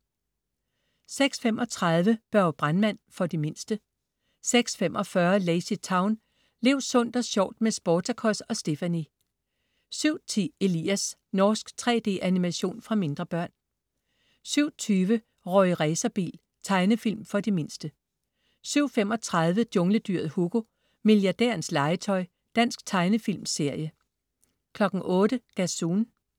06.35 Børge brandmand. For de mindste 06.45 LazyTown. Lev sundt og sjovt med Sportacus og Stephanie! 07.10 Elias. Norsk 3D-animation for mindre børn 07.20 Rorri Racerbil. Tegnefilm for de mindste 07.35 Jungledyret Hugo. Milliardærens legetøj. Dansk tegnefilmserie 08.00 Gazoon